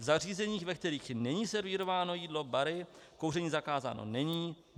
V zařízeních, ve kterých není servírováno jídlo - bary - kouření zakázáno není.